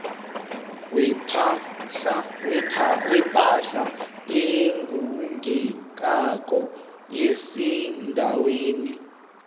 wepahla egugekako esendaweni